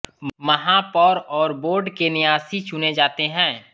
महापौर और बोर्ड के न्यासी चुने जाते हैं